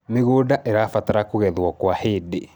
mĩgũnda irabatara kugethwo kwa hĩndĩ